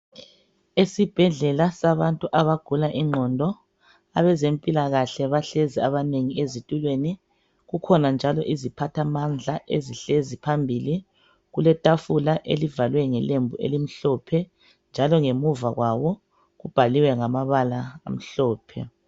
Yisibhedlela sabantu abagula ingqondo. Abezempilakahle, inengi labo lihlezi ezitulweni. Kukhona leziphathamandla ezihlezi phambili. Kuletafula eliceciswe ngelembu elimhlophe, njalo ngemuva kwabo kulombiko, oduduzayo, obhalwe ngamabala amhlophe.